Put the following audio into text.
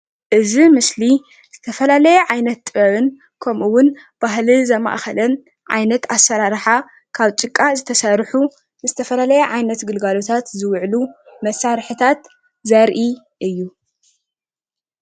እዚ ምስሊ ዝተፈለየ ዓይነት ጥበብን ከምኡ እዉን ባህሊ ዘማእከለን ዓይነት ኣሰራርሓ ካብ ጭቃ ዝተሰርሑ ዝተፈላለየ ዓይነት ግልጋሎታት ዝውዕሉ መሳርሕታት ዘርኢ እዩ።